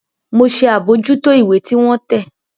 Mọ ṣe abojuto ìwé tí wọn tẹ